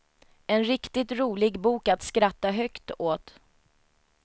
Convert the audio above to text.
En riktigt rolig bok att skratta högt åt.